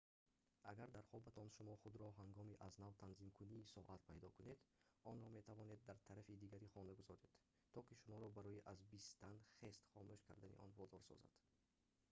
агар дар хобатон шумо худро ҳангоми аз нав танзимкунии соат пайдо кунед онро метавонад дар тарафи дигари хона гузоред то ки шуморо барои аз бистан хест хомӯш кардани он водор созад